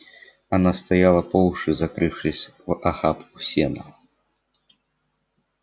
она стояла по уши закрывшись в охапку сена